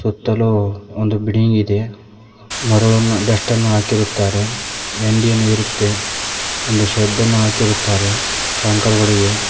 ಸುತ್ತಲು ಒಂದು ಬಿಲ್ಡಿಂಗ್ ಇದೆ ಮರವನ್ನು ಡಷ್ಟನ್ನು ಹಾಕಿರುತ್ತಾರೆ ಯಾಂಡಿಯನ್ನು ಇರುತ್ತೆ ಒಂದು ಶೆಡ್ದನು ಹಾಕಿರುತ್ತಾರೆ ಕಂಕರ್ ಗಳಿವೆ.